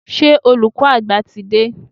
Ṣé olùkọ́ àgbà ti dé?